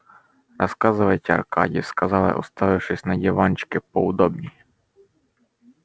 рассказывайте аркадий сказал я устраиваясь на диванчике поудобнее